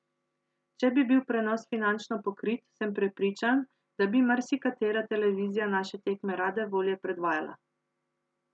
Če bi bil prenos finančno pokrit, sem prepričan, da bi marsikatera televizija naše tekme rade volje predvajala.